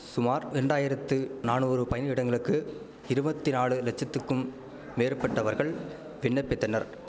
சுமார் இரண்டாம் இரண்டாயிரத்து நானூறு பணியிடங்களுக்கு இருவத்தி நாலு லட்சத்துக்கும் மேற்பட்டவர்கள் விண்ணப்பித்தனர்